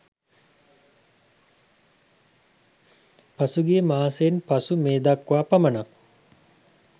පසුගිය මාසයෙන් පසු මේ දක්වා පමණක්